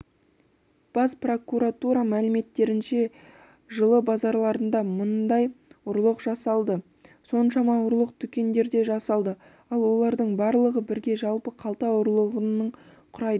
бас прокуратура мәліметтерінше жылы базарларында мыңдай ұрлық жасалды соншама ұрлық дүкендерде жасалды ал олардың барлығы бірге жалпы қалта ұрлығының құрайды